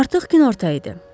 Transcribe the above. Artıq günorta idi.